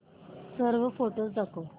सर्व फोटोझ दाखव